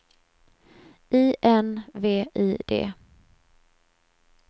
I N V I D